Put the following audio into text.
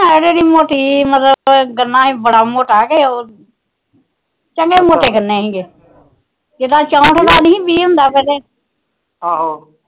ਹੈ ਮੋਟੀ ਜੀ ਮਤਲਬ ਗੰਨਾ ਵੀ ਮੋਟਾ ਜਾ ਚੰਗੇ ਮੋਟੇ ਗੰਨੇ ਸੀਗੇ ਜਿਦਾ